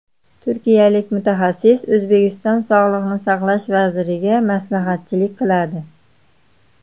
Turkiyalik mutaxassis O‘zbekiston sog‘liqni saqlash vaziriga maslahatchilik qiladi.